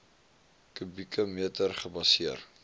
kubieke meter gebaseer